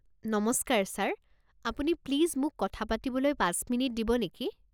নমস্কাৰ ছাৰ আপুনি প্লিজ মোক কথা পাতিবলৈ পাঁচ মিনিট দিব নেকি?